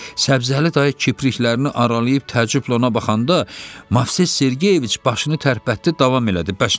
Səbzəli dayı kipriklərini aralayıb təəccüblə ona baxanda, Movses Sergeyeviç başını tərpətdi, davam elədi.